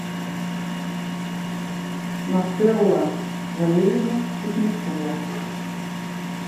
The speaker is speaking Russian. нателла валерьевна кузнецова